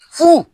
Furu